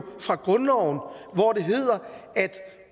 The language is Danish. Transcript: fra grundloven hvor det hedder at